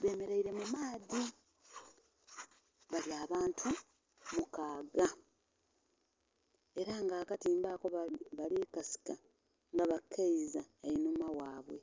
bemereire mu maadhi, bali abantu mukaaga era nga akatimba ako bali kasika nga bakeiza einhuma ghaibwe.